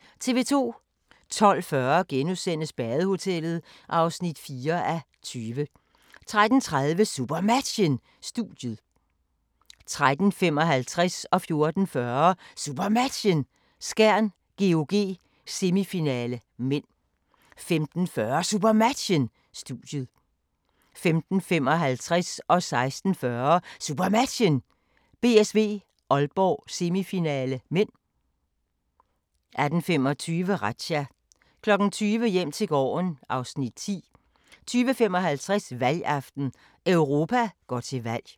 12:40: Badehotellet (4:20)* 13:30: SuperMatchen: Studiet 13:55: SuperMatchen: Skjern-GOG, semifinale (m) 14:40: SuperMatchen: Skjern-GOG, semifinale (m) 15:40: SuperMatchen: Studiet 15:55: SuperMatchen: BSV-Aalborg, semifinale (m) 16:40: SuperMatchen: BSV-Aalborg, semifinale (m) 18:25: Razzia 20:00: Hjem til gården (Afs. 10) 20:55: Valgaften - Europa går til valg